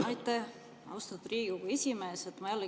Aitäh, austatud Riigikogu esimees!